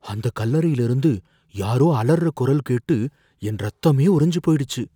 அந்தக் கல்லறைல இருந்து யாரோ அலர்ற குரல் கேட்டு என் ரத்தமே உறைஞ்சு போயிடுச்சு.